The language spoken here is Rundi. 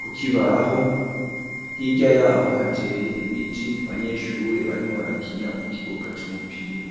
,kukibaho hirya yaho hateye ibiti ,abanyeshure barimwo barakina mu kibuga c'umupira.